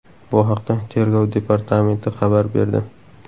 Bu haqda Tergov departamenti xabar berdi .